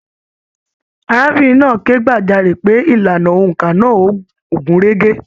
Arábìnrin náà ké gbajare pé ìlànà óńka náà o gun rege.